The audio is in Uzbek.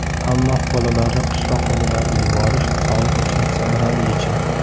Ammo bolalarni qishloq hovlilariga yuborish sog‘liq uchun samarali yechim.